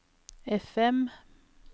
FM